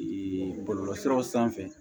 bɔlɔlɔ siraw sanfɛ